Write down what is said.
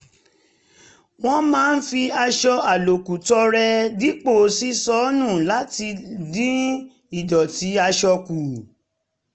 wọ́n máa ń fi aṣọ àlòkù tọrẹ dípò ṣíṣọ nù láti dín ìdọ̀tí aṣọ kù